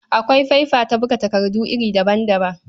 Akwai faifa ta buga takardu iri daban-daban.